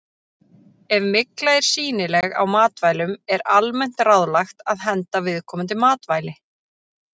Ef mygla er sýnileg á matvælum er almennt ráðlagt að henda viðkomandi matvæli.